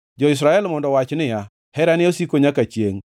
Jo-Israel mondo owach niya, “Herane osiko nyaka chiengʼ.”